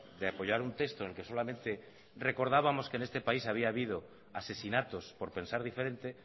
de apoyar un texto en el que solamente recordábamos que en este país había habido asesinatos por pensar diferente